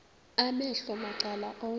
amehlo macala onke